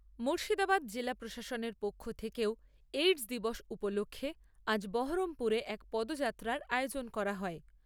মূর্শিদাবাদ জেলা প্রশাসনের পক্ষ থেকেও এইডস দিবস উপলক্ষ্যে আজ বহরমপুরে এক পদযাত্রার আয়োজন করা হয়।